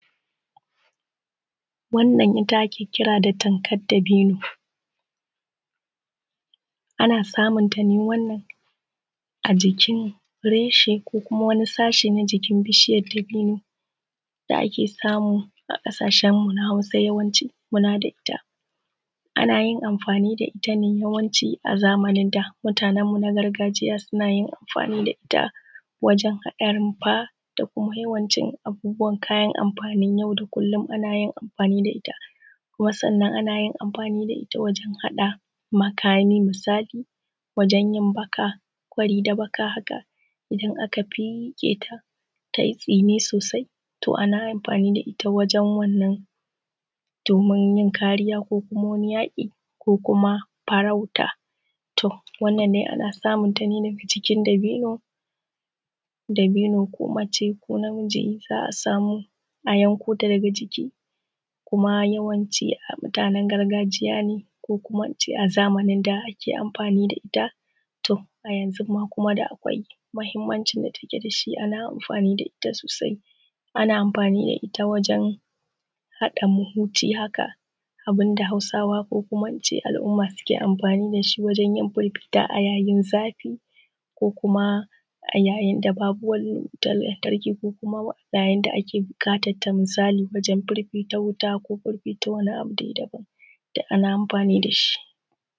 Wannan ita ake kira da tankar dabino ,ana samun ta ne a a jikin reshe ko kuma wani sashi na jikin bishiyar dabino da ake samu a kasashenmu na Hausa da ake kula da ita. Ana yin amfani da ita ne a zamanin da. Mutanenmu na gargajiya sun yin amfani da ita wajen haɗa rumfa da yawan cin abubuwan kayan amfanin yau da kullum a yin amfani da ita. Kuma sannan ana yin amfani da ita wajen haɗa makamai misali, wajen yi baka kwari da baka haka. Idan aka feƙe ta ta yi tsini sosai sai a yi amfani da ita wajen wannna domin yin kariya ko kuma wajen yaƙi ko kuma farauta. Wanna dai ana samun ta cikin dabino, dabino ko mace ko namiji idan za a samu a yanko ta daga jiki. Kuma yawanci mutanen gargajiya ne ko kuma in ce a zamanin da ake amfani da ita, to a yanzu kuma akwai mahimmanci amfani da ake da ita sosai. Ana amfani da ita wajen haɗa mahuji haka abun da Hausawa ko in ce al'uma suke amfani da shi wajen yin fifita a yayin zafi ko kuma a yayin da babu wutar lantarki ko kuma yayin da ake buƙatar wajen fifita wuta ko fififta wani abu daban, duk ana amfani da shi.